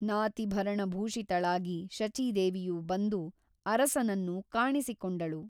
ನಾತಿಭರಣಭೂಷಿತಳಾಗಿ ಶಚೀದೇವಿಯು ಬಂದು ಅರಸನನ್ನು ಕಾಣಿಸಿಕೊಂಡಳು.